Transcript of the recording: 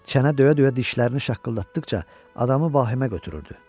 Çənə döyə-döyə dişlərini şaqqıldatdıqca adamı vahimə götürürdü.